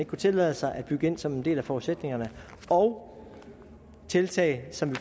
kunne tillade sig at bygge ind som en del af forudsætningerne og tiltag som vi